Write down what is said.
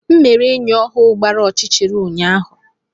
M mere enyi ọhụrụ gbara ọchịchịrị ụnyaahụ.